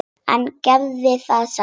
En gerði það samt.